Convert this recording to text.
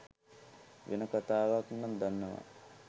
වෙන කතාවක් නං දන්නවා.